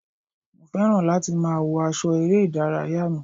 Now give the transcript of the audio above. Mo fẹ́ràn láti máa wọ aṣọ eré ìdárayá mi.